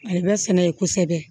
A le bɛ sɛnɛ ye kosɛbɛ